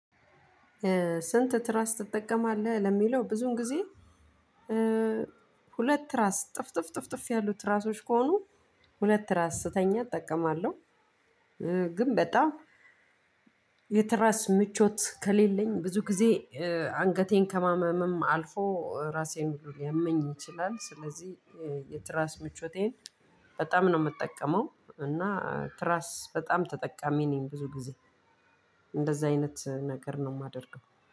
ስንት? ትራስ ትጠቀማለህ ለሚለው ብዙን ጊዜ ሁለት ትራስ ጥፍጥፍ ጥፍጥፍ ያሉ ትራሶች ከሆኑ ሁለት ትራስ ስተኛ እጠቀማለው። ግን በጣም የትራስ ምቾት ከሌለኝ ብዙ ጊዜ አንገቴን ከማመመም አልፎ ራሴን ሁሉ ልያመኝ ይችላል። ስለዚህ የትራስ ምቾቴን በጣም ነው የምጠቀመው እና ትራስ በጣም ተጠቃሚ ነኝ። ብዙ ጊዜ እንደዛ አይነት ነገር ነው የማደርገው።